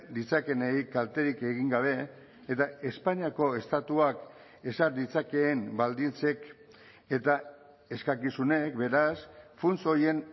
ditzakeenei kalterik egin gabe eta espainiako estatuak ezar ditzakeen baldintzek eta eskakizunek beraz funts horien